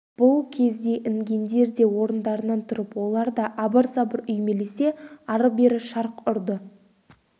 бұл кезде інгендер де орындарынан тұрып олар да абыр-сабыр үймелесе ары-бері шарқ ұрды